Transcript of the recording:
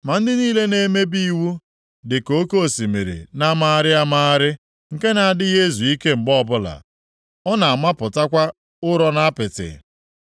Ma ndị niile na-emebi iwu dị ka oke osimiri na-amagharị amagharị, nke na-adịghị ezu ike mgbe ọbụla. Ọ na-amapụtakwa ụrọ na apịtị.